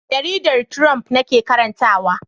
Jaridar Triumph nake karantawa.